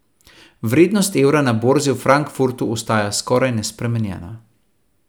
Vrednost evra na borzi v Frankfurtu ostaja skoraj nespremenjena.